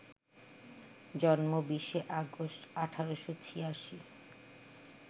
জন্ম ২০শে আগস্ট, ১৮৮৬